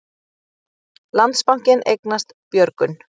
Landsbankinn eignast Björgun